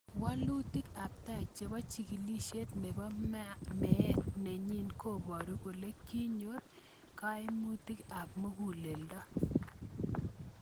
Walutik ab tai chebo chigilisiet nebo meet nenyin koboru kole kinyor "kaimutik ab muguleldo"y